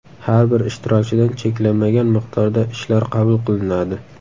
Har bir ishtirokchidan cheklanmagan miqdorda ishlar qabul qilinadi.